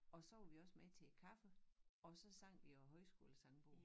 Og så var vi også med til kaffe og så sang vi af højskolesangbogen